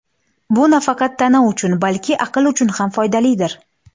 Bu nafaqat tana uchun, balki aql uchun ham foydalidir.